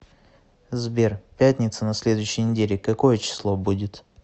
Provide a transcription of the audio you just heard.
сбер пятница на следующей неделе какое число будет